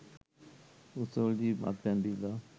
උත්සවවලදී මත්පැන් බීලා